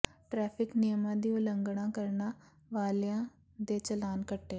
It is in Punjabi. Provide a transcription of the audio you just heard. ਟੈ੍ਰਫਿਕ ਨਿਯਮਾਂ ਦੀ ਉਲੰਘਣਾ ਕਰਨ ਵਾਲਿਆਂ ਦੇ ਚਲਾਨ ਕੱਟੇ